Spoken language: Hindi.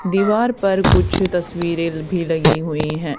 दीवार पर कुछ तस्वीरें भी लगी हुई है।